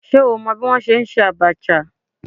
Ṣé o mọ bí wọ́n ṣe ń ṣe Abacha?